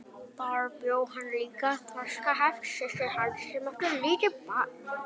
Þar bjó líka þroskaheft systir hans sem átti lítið barn.